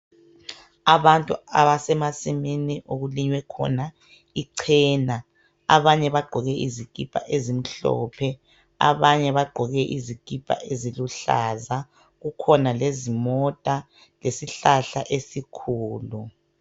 abantu abasemasimini okulinywe khona ichena abanye bagqoke izikipa ezimhlophe abanye bagqoke izikipa eziluhlaza kukhona lezimota lesihlahla esikhulu